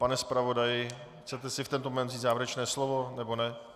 Pane zpravodaji, chcete si v tento moment vzít závěrečné slovo, nebo ne?